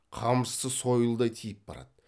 қамшысы сойылдай тиіп барады